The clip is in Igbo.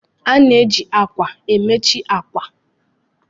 A na-eji ákwà bedi ahazie bedi.